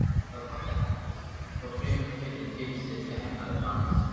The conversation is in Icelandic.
Það hafði heppnast, þó fremur fyrir tilstilli hennar en hans.